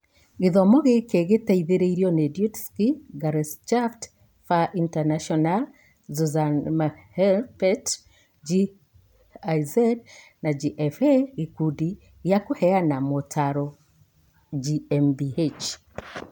Gĩthomo gĩkĩ gĩateithirio nĩ Deutsche Gesellschaft für Internationale Zusammenarbeit (GIZ) na GFA Gĩkundi gĩa kũheana motaro GmbH.